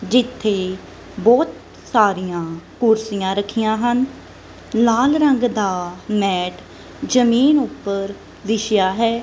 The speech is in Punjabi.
ਜਿੱਥੇ ਬਹੁਤ ਸਾਰੀਆਂ ਕੁਰਸੀਆਂ ਰੱਖੀਆਂ ਹਨ ਲਾਲ ਰੰਗ ਦਾ ਮੈਟ ਜਮੀਨ ਉੱਪਰ ਵਿਛਿਆ ਹੈ।